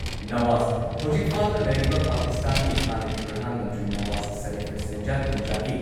ꯅꯋꯥꯖ ꯍꯧꯖꯤꯛ ꯐꯥꯗꯨꯅ ꯂꯩꯔꯤꯕ ꯄꯥꯀꯤꯁꯇꯥꯟꯒꯤ ꯍꯥꯟꯅꯒꯤ ꯄ꯭ꯔꯙꯥꯟ ꯃꯟꯇ꯭ꯔꯤ ꯅꯋꯥꯖ ꯁꯥꯔꯤꯐ ꯁꯦꯟꯖꯥ ꯊꯨꯝꯖꯥꯒꯤ